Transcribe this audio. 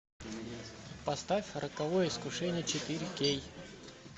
поставь роковое искушение четыре кей